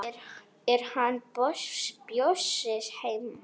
Er hann Bjössi heima?